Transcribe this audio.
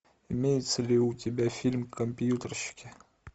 имеется ли у тебя фильм компьютерщики